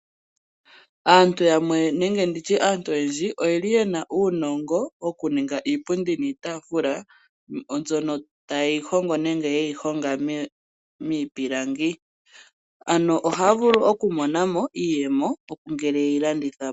Aantu yamwe nenge ndi tye aantu oyendji oye li ye na uunongo wokuninga iipundi niitaafula , mbyono taye yi hongo miipilangi. Ohaya vulu okumona mo iiyemo ngele ye yi landitha po.